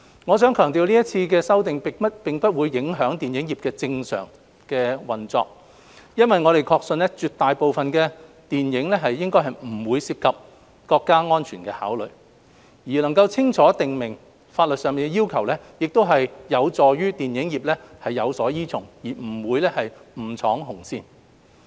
我想強調今次修例並不影響電影業的正常運作，因為我們確信絕大部分的電影應不涉及國家安全的考慮，而清楚訂明法例要求能夠有助電影業有所依從，不會誤闖"紅線"。